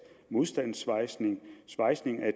modstandssvejsning svejsning af